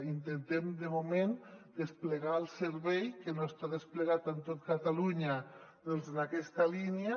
intentem de moment desplegar el servei que no està desplegat en tot catalunya doncs en aquesta línia